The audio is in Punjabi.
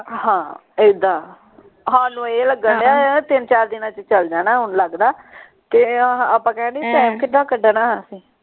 ਹਾਂ ਇੱਦਾਂ ਸਾਨੂ ਇਹ ਲੱਗਣ ਢਆ ਤਿੰਨ ਚਾਰ ਦਿਨਾਂ ਚ ਚੱਲ ਜਾਣੇ ਹੁਣ ਲਗਦਾ ਕੇ ਆਹਾ ਆਪਾਂ ਕਹਿ ਦੀਨੇ ਕਿੱਦਾਂ ਕੱਢਣਾ